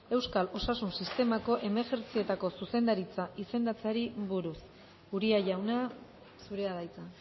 euskal osasun sistemako emergentzietako zuzendaritza izendatzeari buruz uria jauna zurea da hitza